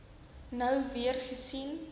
nou weer gesien